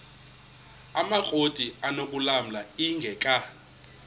amakrot anokulamla ingeka